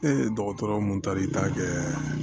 dɔgɔtɔrɔ mun tari ta kɛ